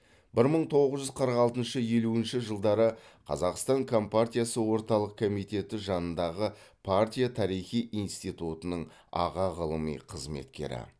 бір мың тоғыз жүз қырық алтыншы елуінші жылдары қазақстан компартиясы орталық комитеті жанындағы партия тарихы институтының аға ғылыми қызметкері